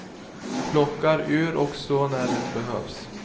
Plockar ur och så när det behövs.